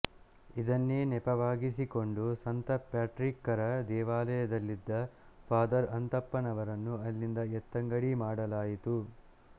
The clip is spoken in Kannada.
ಇದನ್ನೇ ನೆಪವಾಗಿಸಿಕೊಂಡು ಸಂತ ಪ್ಯಾಟ್ರಿಕ್ಕರ ದೇವಾಲಯದಲ್ಲಿದ್ದ ಫಾದರ್ ಅಂತಪ್ಪನವರನ್ನು ಅಲ್ಲಿಂದ ಎತ್ತಂಗಡಿ ಮಾಡಲಾಯಿತು